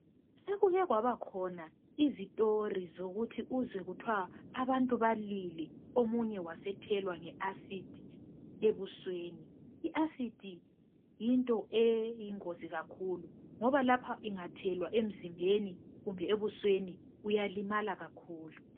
Sekuke kwabakhona izitori zokuthi uzwe kuthwa abantu balwile omunye wasethelwa nge Acid ebusweni. I Acid yinto eyingozi kakhulu ngoba lapha ingathelwa emzimbeni kumbe ebusweni uyalimala kakhulu.